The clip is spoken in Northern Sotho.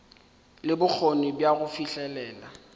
le bokgoni bja go fihlelela